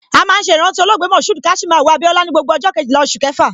A máa ń ṣe ìrántí olóògbé MK Abiola ni gbogbo ọjọ Kejìlá oṣù kẹfà.